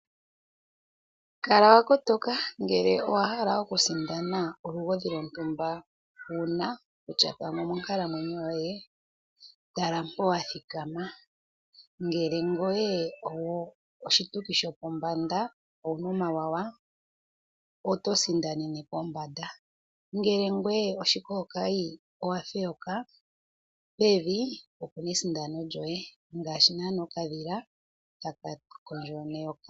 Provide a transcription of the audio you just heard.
Kala wa kotoka ngele owa hala okusindana olugodhi lwontumba uuna kutya pamwe omonkalamwenyo yoye, tala mpo wa thikama. Ngele ngoye oshituki sho pombanda owuna omawanawa oto sindanene pombanda. Ngele ngwee oshikookayi, owa feyoka pevi opo pu nesindano lyoye ngaashi naana okadhila taka kondjo neyoka.